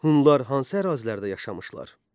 Hunlar hansı ərazilərdə yaşamışlar?